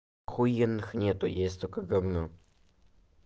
ахуенных нет есть только гавно